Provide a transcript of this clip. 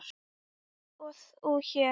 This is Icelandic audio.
og þú hér?